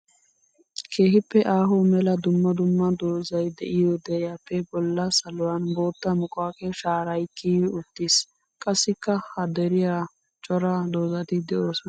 Keehippe aaho mela dumma dumma doozay de'iyo deriyappe bolla saluwan bootta muquaqe shaaray kiyyi uttiis. Qassikka ha deriyan cora doozatti de'osona.